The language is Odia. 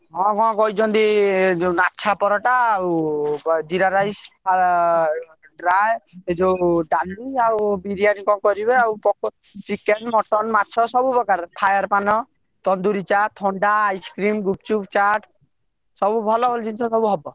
ହଁ କଣ କହିଛନ୍ତି ଲାଛା ପରଟା, ଆଉ ଜିରା rice dry ଏ ଯୋଉ ଡାଲି ଆଉ ବିରିୟାନୀ କଣ କରିବେ ଆଉ କଣ କରିବେ ଆଉ chicken, mutton , ମାଛ, ସବୁ ପ୍ରକାରର fire ପାନ, ତନ୍ଦୁରୀ ଚା, ଥଣ୍ଡା, ice cream , ଗୁପଚୁପ ,ଚାଟ ସବୁ ଭଲ ଭଲ ଜିନିଷ ହବ।